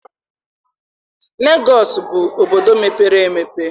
Legọọsị bụ obodo mepere emepe.